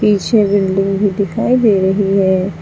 पीछे बिल्डिंग भी दिखाई दे रही है।